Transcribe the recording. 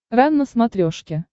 рен на смотрешке